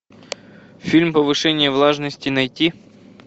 фильм повышение влажности найти